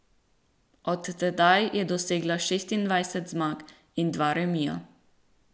Od tedaj je dosegla šestindvajset zmag in dva remija.